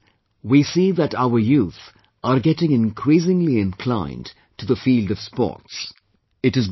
These days we see that our youth are getting increasingly inclined to the field of sports